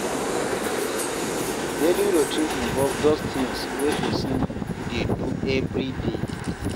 Daily routine involve those things wey person dey do everyday